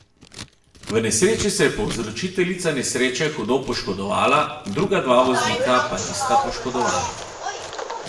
V nesreči se je povzročiteljica nesreče hudo poškodovala, druga dva voznika po nista poškodovana.